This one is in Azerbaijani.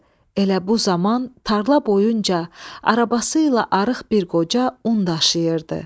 Elə bu zaman tarla boyunca arabası ilə arıq bir qoca un daşıyırdı.